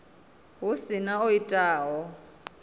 hu si na o itaho